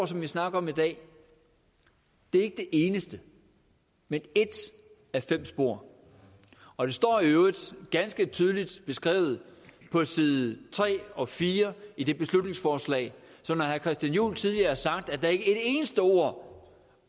som vi snakker om i dag er ikke det eneste men et af fem spor og det står i øvrigt ganske tydeligt beskrevet på side tre og fire i beslutningsforslaget så når herre christian juhl tidligere har sagt at der ikke er et eneste ord